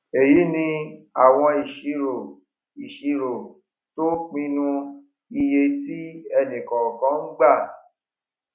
èyí ni àwọn ìṣirò ìṣirò tó ń pinu iye tí ẹnì kọọkan ń gbà